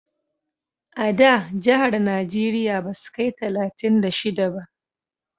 A da jahar najeriya basu kai talatin da shida ba